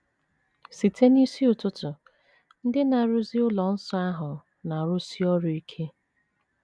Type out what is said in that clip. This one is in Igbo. Site n’isi ụtụtụ, ndị na - arụzi ụlọ nsọ ahụ na - arụsi ọrụ ike.